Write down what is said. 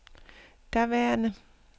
daværende